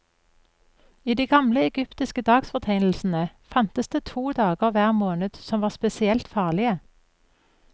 I de gamle egyptiske dagsfortegnelsene fantes det to dager hver måned som var spesielt farlige.